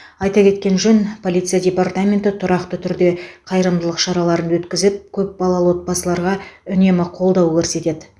айтпа кеткен жөн полиция департаменті тұрақты түрде қайырымдылық шараларын өткізіп көп балалы отбасыларға үнемі қолдау көрсетеді